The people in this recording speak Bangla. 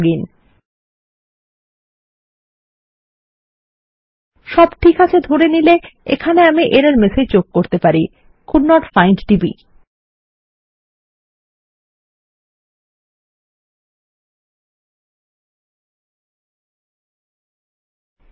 সব ঠিক আছে ধরে নিলে এখানে আমি ত্রুটির বার্তা যোগ করতে পারি কোল্ডেন্ট ফাইন্ড ডিবি